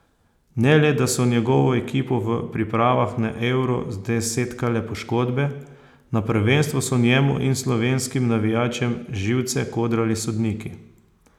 Ne le, da so njegovo ekipo v pripravah na Euro zdesetkale poškodbe, na prvenstvu so njemu in slovenskim navijačem živce kodrali sodniki.